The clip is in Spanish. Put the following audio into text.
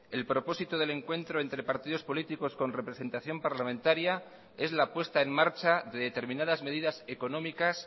el propósito del encuentro entre partidos políticos con representación parlamentaria es la puesta en marcha de determinadas medidas económicas